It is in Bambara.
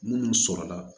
Munnu sɔrɔ la